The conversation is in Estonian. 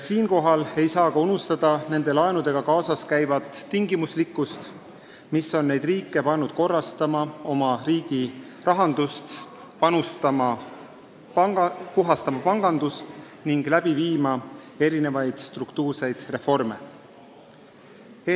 Siinkohal ei tohi unustada nende laenudega kaasas käivaid tingimusi, mis on pannud neid riike oma rahandust korrastama, pangandust puhastama ning struktuurseid reforme läbi viima.